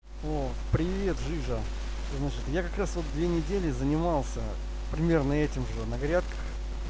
о привет жижа значит я как раз вот две недели занимался примерно этим же на грядках